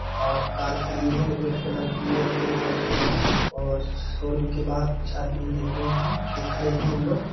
और कार खड़ी है रेड कलर की और दो वाइट कलर की और शोरूम के बहार कुछ आदमी दिख रहे है जो खड़े है उन लोग--